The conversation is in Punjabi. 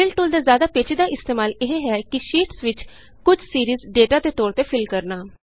ਫਿਲ ਟੂਲ ਦਾ ਜ਼ਿਆਦਾ ਪੇਚੀਦਾ ਇਸਤੇਮਾਲ ਇਹ ਹੈ ਕਿ ਸ਼ੀਟਸ ਵਿਚ ਕੁਝ ਸੀਰੀਜ਼ ਡੇਟਾ ਦੇ ਤੌਰ ਤੇ ਫਿਲ ਕਰਨਾ